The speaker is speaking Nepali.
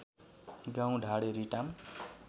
गाउँ ढाँडे रिटाम